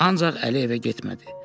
Ancaq Əli evə getmədi.